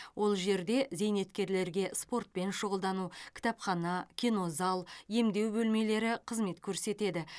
ол жерде зейнеткерлерге спортпен шұғылдану кітапхана кинозал емдеу бөлмелері қызмет көрсетеді